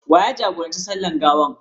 Wa ya jagoranci sallar gawar?